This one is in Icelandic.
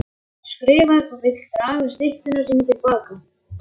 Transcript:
Hún skrifar og vill draga styttu sína til baka.